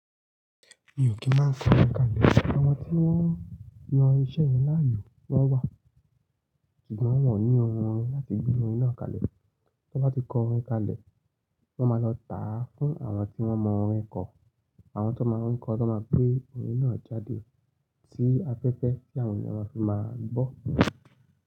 Mi ò kì n máa ń kọ orin kalẹ̀. Àwọn tí wọ́n yan iṣẹ́ yẹn láàyò wọ́n wà, ṣùgbọ́n wọ́n ò ní ohun orin láti gbe orin náà kalẹ̀. Tí wọ́n bá ti kọ orin kalẹ̀, wọ́n máa lọ tà á fún àwọn tí wọ́n mọ orin kọ. Àwọn tó máa ń kọ, ti won máa gbé orin náà jáde sí afẹ́fẹ́ tí àwọn ènìyàn máa fi máa gbọ́